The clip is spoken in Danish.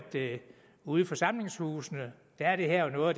ude i forsamlingshusene er det her jo noget